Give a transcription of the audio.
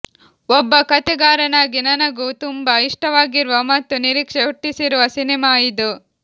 ಒಬ್ಬ ಕಥೆಗಾರನಾಗಿ ನನಗೂ ತುಂಬ ಇಷ್ಟವಾಗಿರುವ ಮತ್ತು ನಿರೀಕ್ಷೆ ಹುಟ್ಟಿಸಿರುವ ಸಿನಿಮಾ ಇದು